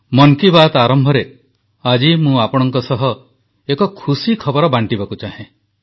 ମନ୍ କି ବାତ୍ ଆରମ୍ଭରେ ଆଜି ମୁଁ ଆପଣଙ୍କ ସହ ଏକ ଖୁସି ଖବର ବାଂଟିବାକୁ ଚାହେଁ